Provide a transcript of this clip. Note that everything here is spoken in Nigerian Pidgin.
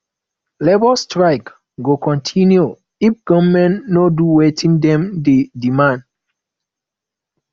labour strike go continue if government no do wetin dem dey demand